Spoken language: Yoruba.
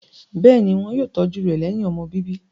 Bẹ́ẹ̀ ni, wọ́n yóò tọ́jú rẹ̀ lẹ́yìn ọmọ bíbí.